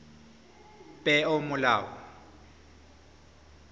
peomolao